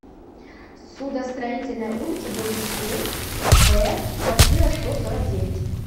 судостроительная улица дом семь в квартира сто сорок девять